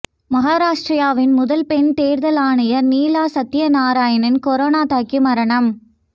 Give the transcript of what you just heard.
மகாராஷ்டிராவின் முதல் பெண் தேர்தல் ஆணையர் நீலா சத்யநாராயணா கொரோனா தாக்கி மரணம்